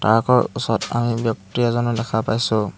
Park ৰ ওচৰত আমি ব্যক্তি এজনো দেখা পাইছোঁ।